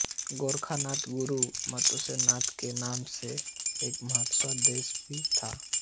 गोरख नाथ के गुरु मत्स्येन्द्र नाथ के नाम से एक मत्स्य देश भी था